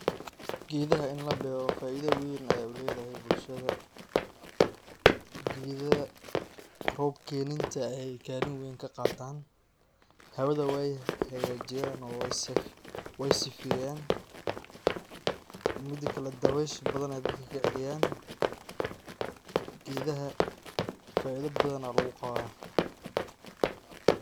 Gedaha in labero faida weyn ay uledahay bulshada, gedaha rob keninta ay kalin weyn kaqatan, hawada way hagajiyan oo way sifeyan, midi kale dawesha bathan ay dadka kaceliyan. Gedaha faida bathan aa luguqawah.